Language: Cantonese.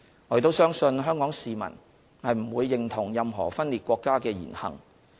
我亦相信香港市民不會認同任何分裂國家的言行。